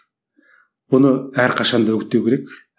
бұны әрқашан да үгіттеу керек